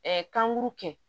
kan guuru kɛ